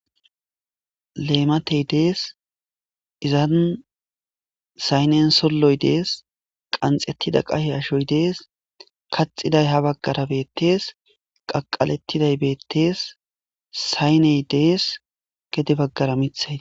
leematey dees izan saynen solloy dees qanxettida qahe ashoy dees kaxiday ha baggara beettees qaqalettiday beettees sayney dees gede baggara mithayi